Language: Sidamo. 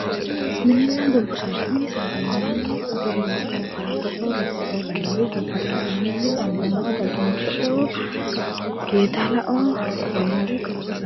Mininna dubbu saada, mininna saada yineemmori gerreewo, faraddo"o lukko"o lawinori ,Gobba saada yineemmori ambommao, Dagunicho"o,Yeedallao lawinore gobba saada